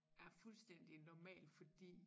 Er fuldstændig normalt fordi